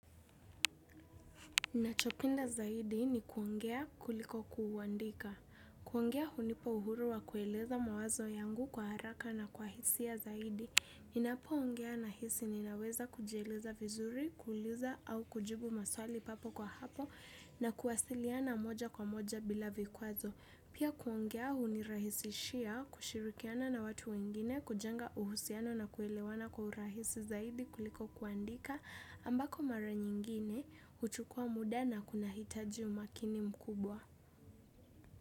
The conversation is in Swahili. Nachopenda zaidi ni kuongea kuliko kuuandika. Kuongea hunipa uhuru wa kueleza mawazo yangu kwa haraka na kwa hisia ya zaidi. Ninapoongea nahisi ninaweza kujieleza vizuri, kuuliza au kujibu maswali papo kwa hapo na kuwasiliana moja kwa moja bila vikwazo. Pia kuongea hunirahisishia kushirikiana na watu wengine kujenga uhusiano na kuelewana kwa urahisi zaidi kuliko kuandika ambako mara nyingine huchukua muda na kuna hitaji umakini mkubwa.